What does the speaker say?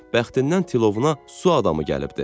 Bəxtindən tilovuna su adamı gəlibdi.